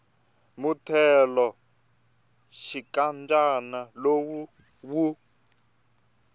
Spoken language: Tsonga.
muthelo wa xinkadyana lowu wu